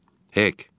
Heyk!